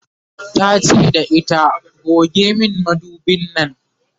tace da ita"goge min madubin Nan!"